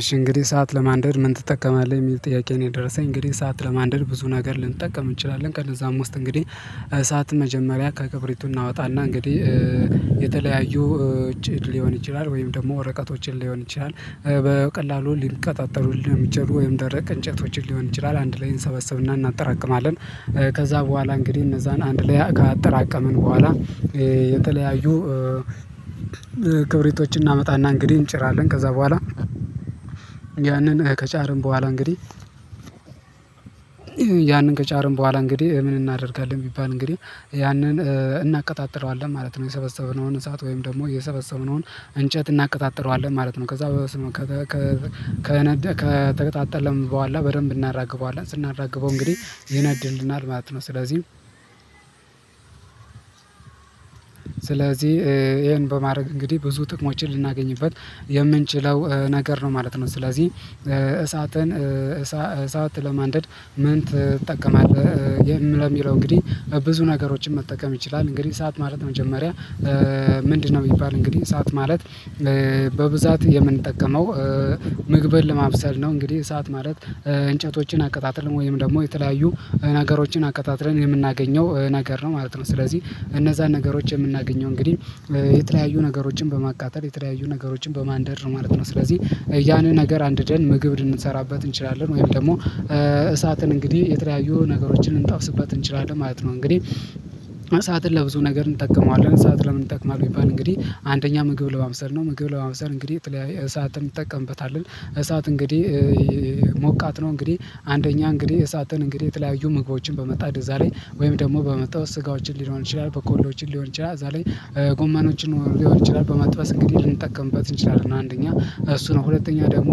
እሺ እንግዲህ ሰዓት ለማንደድ ምን ትጠቀማለህ? የሚል ጥያቄ ነው የደረሰኝ። እንግዲህ ሰዓት ለማንደድ ብዙ ነገር ልንጠቀም እንችላለን። ከነዛም ውስጥ እንግዲህ እሳት መጀመሪያ ከክብሪቱ እናወጣና እንግዲህ የተለያዩ ውጪ ሊሆን ይችላል። ወይም ደግሞ ወረቀቶችን ሊሆን ይችላል። በቀላሉ ሊቀጣጠሉልን የሚችሉ ወይም ደረቅ እንጨቶችን ሊሆን ይችላል። አንድ ላይ እንሰበሰብና እናጠራቅማለ። ከዛ በኋላ እንግዲህ እነዛን አንድ ላይ ካጠራቀምን በኋላ የተለያዩ ክብሪቶችን እናመጣና እንግዲህ እንጨራለን። ከዛ በኋላ ያንን ከጫርን በኋላ እንግዲህ ያንን ከጫርን በኋላ እንግዲህ ምን እናደርጋለን? ቢባል እንግዲህ ያንን እናቀጣጥለዋለን ማለት ነው። የሰበሰበው እሳት ወይም ደግሞ የሰበሰበውን እንጨት እናቀጣጥለዋለን ማለት ነ። ከዛ በስመ ከተገጣጣለም በኃላ በደንብ እናራግበዋለን። ስናራግበው እንግዲህ ይነድልናል ማለት ነው። ስለዚህ ስለዚህ ይሄን በማድረግ እንግዲህ ብዙ ጥቅሞችን ልናገኝበት የምንችለው ነገር ነው ማለት ነው። ስለዚህ እሳትን እሳት ለማንደድ ምን ትጠቀማለህ? ለሚለው እንግዲህ ብዙ ነገሮችን መጠቀም ይችላል። እንግዲህ እሳት ማለት መጀመሪያ ምንድነው? ቢባል እንግዲህ እሳት ማለት በብዛት የምንጠቀመው ምግብን ለማብሰል ነው። እንግዲህ እሳት ማለት እንጨቶችን አቀጣጥልን ወይም ደግሞ የተለያዩ ነገሮችን አቀጣጥለን የምናገኘው ነገር ነው ማለት ነው። ስለዚህ እነዛን ነገሮች የምናገኘው እንግዲህ የተለያዩ ነገሮችን በማቃጠ፣ የተለያዩ ነገሮችን በማንደር ማለት ነው። ስለዚህ ያኔ ነገር አንድደን ምግብ ልንሰራበት እንችላለን። ወይም ደግሞ እሳትን እንግዲህ የተለያዩ ነገሮችን ልንጠብስበት እንችላለን ማለት ነው። እንግዲህ እሳትን ለብዙ ነገር እንጠቀመዋለን። እሳት ለምን እንጠቀማለን? ቢባል እንግዲህ አንደኛ ምግብ ለማብሰል ነው። ምግብ ለማብሰል እንግዲህ እሳትን ትጠቀምበታለህ። እሳት እንግዲህ ሞቃት ነው እንግዲህ አንደኛ እንግዲህ እሳትን እንግዲህ የተለያዩ ምግቦችን በመጣድ እዛ ላይ ወይም ደግሞ በመጣ ስጋዎችን ሊሆን ይችላል። በኮሎዎችን ሊሆን ይችላል እዛ ላይ ጎማኖችን ሊሆን ይችላል። በመጥበስ እንግዲህ ልንጠቀምበት እንችላለን አንደኛ እሱ ነው፤ ሁለተኛ ደግሞ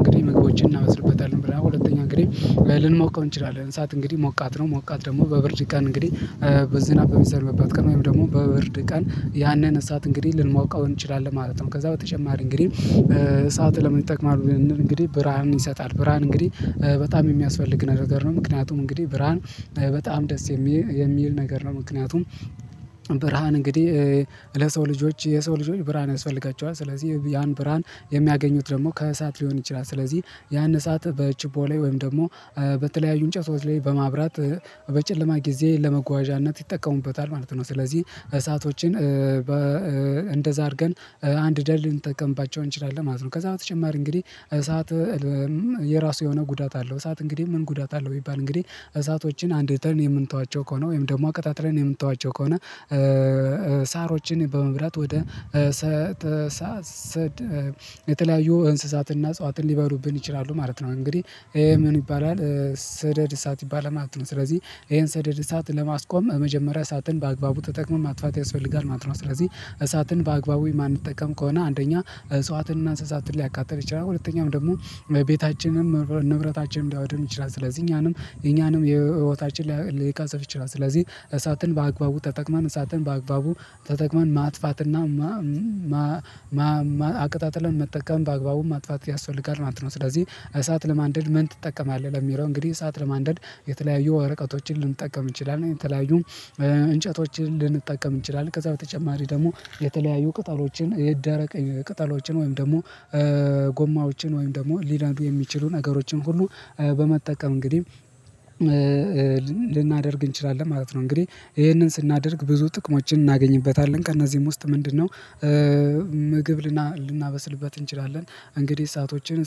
እንግዲህ ምግቦችን እናመስልበታለን ብለን ሁለተኛ እንግዲህ ልንሞቀው እንችላለን። እሳት እንግዲህ ሞቃት ነው። ሞቃት ደግሞ በብርድ ቀን እንግዲህ በዝናብ የሚዘንብበት ቀን ወይም ደግሞ በብርድ ቀን ያንን እሳት እንግዲህ ልንሞቀው እንችላለን ማለት ነው። ከዛ በተጨማሪ እንግዲህ እሳት ለምን ይጠቅማ። እንግዲህ ብርሃንን ይሰጣል፤ ብርሃን እንግዲህ በጣም የሚያስፈልግ ነገር ነው። ምክንያቱም እንግዲህ ብርሃን በጣም ደስ የሚል ነገር ነው ምክንያቱም ብርሃን እንግዲህ ለሰው ልጆች የሰው ልጆች ብርሃን ያስፈልጋቸዋል። ስለዚህ ያን ብርሃን የሚያገኙት ደግሞ ከእሳት ሊሆን ይችላል። ስለዚህ ያን እሳት በችቦ ላይ ወይም ደግሞ በተለያዩ እንጨቶች ላይ በማብራት በጨለማ ጊዜ ለመጓዣነት ይጠቀሙበታል ማለት ነው። ስለዚህ እሳቶችን በ እንደዛ አድርገን አንድደል ልንጠቀምባቸው እንችላለን ማለት ነው። ከዛ በተጨማሪ እንግዲህ እሳት የራሱ የሆነ ጉዳት አለው። እሳት እንግዲህ ምን ጉዳት አለው? ቢባል እንግዲህ እሳቶችን አንድተን የምንተዋቸው ከሆነ፣ ወይም ደግሞ አቀጣጥለን የምንተዋቸው ከሆነ ሳሮችን በመብላት ወደ ሰተ ሰተሳሰድ የተለያዩ እንስሳትና አጽዋትን ሊበሉብን ይችላሉ ማለት ነው። ይሄ እንግዲህ ምን ይባላል ስደድ እሳት ይባላል ማለት ነው። ስለዚህ ይሄን ሰደድ እሳት ለማስቆም የመጀመሪያ እሳትን በአግባቡ ተጠቅሞ ማጥፋት ያስፈልጋል ማለት ነው። ስለዚህ እሳትን በአግባቡ የማንጠቀም ከሆነ አንደኛ እጿትንና እንስሳትን ሊያቃጥል ይችላል፤ ሁለተኛም ደግሞ ቤታችንም ንብረታችንም ሊያወድም ይችላል። ስለዚህ እኛንም እኛንም የህይወታችን ሊቃፀፍ ይችላል። ስለዚህ እሳትን በአግባቡ ተጠቅማን እሳትን በአግባቡ ተጠቅመን ማጥፋትና አቅጣጥለን መጠቀም በአግባቡ ማጥፋት ያስፈልጋል ማለት ነ። ስለዚህ እሳት ለማንደድ ምን ትጠቀማለህ? ለሚለው እንግዲህ እሳት ለማንደድ የተለያዩ ወረቀቶችን፣ ልንጠቀም እንችላለን የተለያዩ እንጨቶችን፣ ልንጠቀም እንችላለን ከዛ በተጨማሪ ደግሞ የተለያዩ ቅጠሎችን፣ የደረቀ ቅጠሎችን ወይም ደግሞ ጎማዎችን፣ ወይም ደግሞ ሊነዱ የሚችሉ ነገሮችን ሁሉ በመጠቀም እንግዲህ ልናደርግ እንችላለን ማለት ነ። እንግዲህ ይሄንን ስናደርግ ብዙ ጥቅሞችን እናገኝበታለን። ከእነዚህም ውስጥ ምንድነው ምግብ ልናበስልበት እንችላለን። እንግዲህ እሳቶችን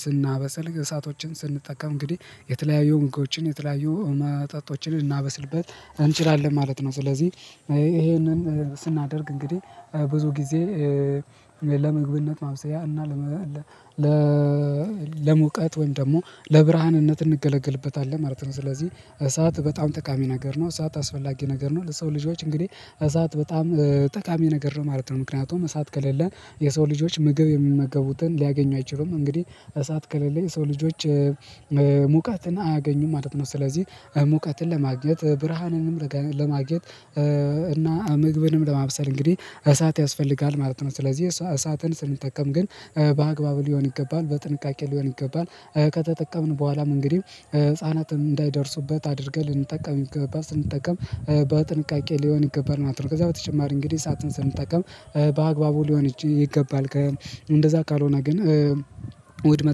ስናበስል እሳቶችን ስንጠቀም እንግዲህ የተለያዩ ምግቦችን የተለያዩ መጠጦችን እናበስልበት እንችላለን ማለት ነው። ስለዚህ ይሄንን ስናደርግ እንግዲህ ብዙ ጊዜ ለመግብነት ማብሰያ እና ለመ ለሙቀት ወይም ደግሞ ለብርሃንነት እንገለገልበታለን ማለት ነው። ስለዚህ እሳት በጣም ጠቃሚ ነገር ነው፤ እሳት አስፈላጊ ነገር ነው፤ ለሰው ልጆች እንግዲህ እሳት በጣም ጠቃሚ ነገር ነው ማለት ነው። ምክንያቱም እሳት ከሌለ የሰው ልጆች ምግብ የሚመገቡትን ሊያገኙ አይችሉም። እንግዲህ እሳት ከለለ የሰው ልጆች ሙቀትን አያገኙም ማለት ነው። ስለዚህ ሙቀትን ለማግኘት ብርሃንንም ለማግኘት እና ምግብንም ለማብሰል እንግዲህ እሳት ያስፈልጋል ማለት ነ። ስለዚህ እሳትን ስንጠቀም ግን በአግባቡ ሊሆን ይገባል። በጥንቃቄ ሊሆን ይገባል። ከተጠቀምን በኋላም እንግዲህ ህፃናትም እንዳይደርሱበት አድርገህ ልንጠቀም ይገባል። ስንጠቀም በጥንቃቄ ሊሆን ይገባል ማለት ነው። ከዛ በተጨማሪ እንግዲህ እሳትን ስንጠቀም በአግባቡ ሊሆን ይች ይገባል። ከ እንደዛ ካልሆነ ግን ውድመት